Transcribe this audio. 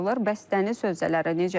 Bəs dəniz sözələri necə?